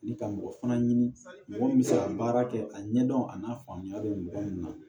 Ni ka mɔgɔ fana ɲini mɔgɔ min bɛ se ka baara kɛ a ɲɛdɔn a n'a faamuya bɛ mɔgɔ min na